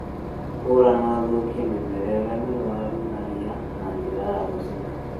Munya na ũthũkie mĩmera ĩria mĩrũaru na ria na njĩra ya gũcina